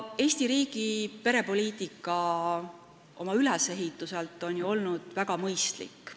Eesti riigi perepoliitika on oma ülesehituselt olnud ju väga mõistlik.